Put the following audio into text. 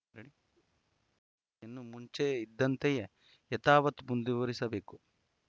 ಇನ್ನು ಮುಂಚೆ ಇದ್ದಂತೆಯೇ ಯಥಾವತ್‌ ಮುಂದುವರಿಸಬೇಕು